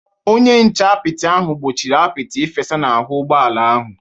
Onye nche apịtị ahụ gbochiri apịtị ịfesa n’ahụ́ ụgbọ ala ahụ.